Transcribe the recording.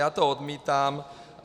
Já to odmítám.